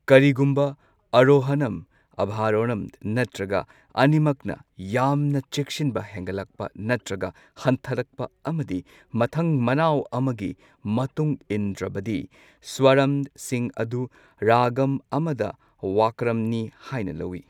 ꯀꯔꯤꯒꯨꯝꯕ ꯑꯔꯣꯍꯅꯝ, ꯑꯚꯥꯔꯣꯍꯅꯝ ꯅꯠꯇ꯭ꯔꯒ ꯑꯅꯤꯃꯛꯅ ꯌꯥꯝꯅ ꯆꯦꯛꯁꯤꯟꯕ ꯍꯦꯟꯒꯠꯂꯛꯄ ꯅꯠꯇ꯭ꯔꯒ ꯍꯟꯊꯔꯛꯄ ꯑꯃꯗꯤ ꯃꯊꯪ ꯃꯅꯥꯎ ꯑꯃꯒꯤ ꯃꯇꯨꯡ ꯏꯟꯗ꯭ꯔꯕꯗꯤ ꯁ꯭ꯋꯥꯔꯝꯁꯤꯡ ꯑꯗꯨ ꯔꯥꯒꯝ ꯑꯃꯗ ꯋꯥꯀ꯭ꯔꯝꯅꯤ ꯍꯥꯏꯅ ꯂꯧꯏ꯫